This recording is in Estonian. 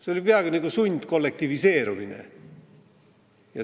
See oli peaaegu nagu sundkollektiviseerimine.